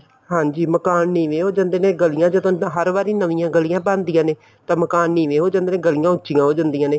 ਹਾਂਜੀ ਮਕਾਨ ਨੀਵੇਂ ਹੋ ਜਾਂਦੇ ਨੇ ਗਲੀਆਂ ਚ ਹਰ ਵਾਰੀ ਨਵੀਆਂ ਗਲੀਆਂ ਬਣਦੀਆਂ ਨੇ ਤਾਂ ਮਕਾਨ ਨੀਵੇਂ ਹੋ ਜਾਂਦੇ ਤੇ ਗਲੀਆਂ ਉੱਚੀਆਂ ਹੋ ਜਾਂਦੀਆਂ ਨੇ